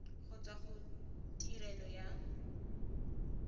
go tswa go tirelo ya